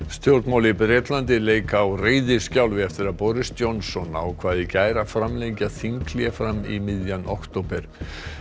stjórnmál í Bretlandi leika á reiðiskjálfi eftir að Boris Johnson ákvað í gær að framlengja þinghlé fram í miðjan október